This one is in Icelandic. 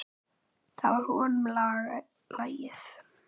Það var honum lagið.